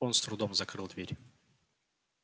он с трудом закрыл дверь